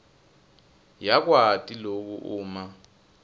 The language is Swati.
yakwati loku uma